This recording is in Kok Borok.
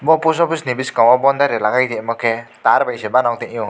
o post office boskango boundary lagai rimake tar bai se banog tangyo.